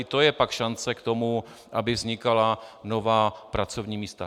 I to je pak šance k tomu, aby vznikala nová pracovní místa.